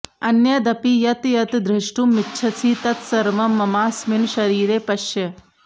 अन्यदपि यत् यत् द्रष्टुमिच्छसि तत्सर्वं ममास्मिन् शरीरे पश्य